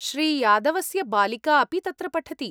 श्री यादवस्य बालिका अपि तत्र पठति।